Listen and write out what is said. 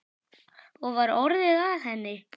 Og var orðið að henni?